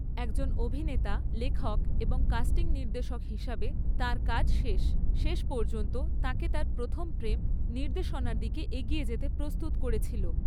একজন অভিনেতা, লেখক এবং কাস্টিং নির্দেশক হিসাবে তাঁর কাজ শেষ। শেষ পর্যন্ত তাঁকে তাঁর প্রথম প্রেম, নির্দেশনার দিকে এগিয়ে যেতে প্রস্তুত করেছিল।